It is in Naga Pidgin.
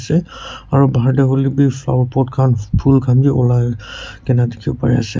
ase aro bahar te hoilebi flower pot khan phulbi ulai kena dekhiwo pari ase.